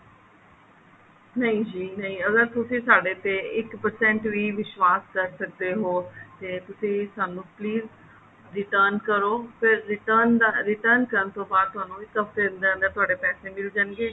ਨਹੀਂ ਜੀ ਨਹੀਂ ਅਗਰ ਤੁਸੀਂ ਸਾਡੇ ਤੇ ਇੱਕ percent ਵੀ ਵਿਸ਼ਵਾਸ ਕਰ ਸਕਦੇ ਹੋ ਤੇ ਤੁਸੀਂ ਸਾਨੂੰ please return ਕਰੋ ਫੇਰ return ਕਰਨ ਤੋਂ ਬਾਅਦ ਤੁਹਾਨੂੰ ਇੱਕ ਹਫਤੇ ਦੇ ਅੰਦਰ ਅੰਦਰ ਤੁਹਾਡੇ ਪੈਸੇ ਮਿਲ ਜਾਣਗੇ